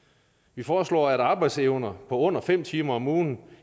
vi foreslår at arbejdsevne på under fem timer om ugen